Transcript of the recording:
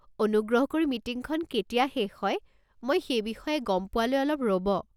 অনুগ্ৰহ কৰি মিটিংখন কেতিয়া শেষ হয়, মই সেই বিষয়ে গম পোৱালৈ অলপ ৰ'ব।